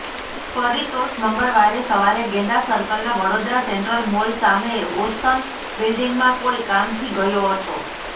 પરિતોષ મંગળવારે સવારે ગેંડા સર્કલના વડોદરા સેન્ટ્રલ મોલ સામે ઓશન બિલ્ડિંગમાં કોઈ કામથી ગયો હતો